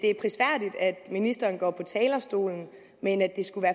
ministeren går på talerstolen men at det skulle